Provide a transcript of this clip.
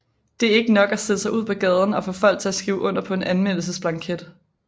Det er ikke nok at stille sig ud på gaden og få folk til at skrive under på en anmeldelsesblanket